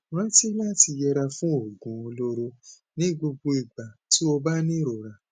rántí láti yẹra fún oògùn olóró ní gbogbo ìgbà tó o bá ní ìrora